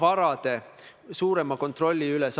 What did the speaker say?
Austatud istungi juhataja!